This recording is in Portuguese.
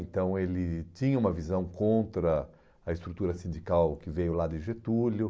Então ele tinha uma visão contra a estrutura sindical que veio lá de Getúlio.